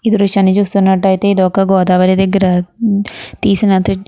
ఈ దృశ్యాన్ని చూస్తున్నట్టయితే ఇది ఒక గోదావరి దగ్గర